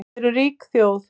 Við erum rík þjóð